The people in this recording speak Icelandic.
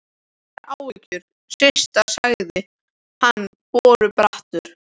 Engar áhyggjur, Systa sagði hann borubrattur.